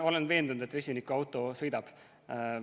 Olen veendunud, et vesinikuauto sõidab.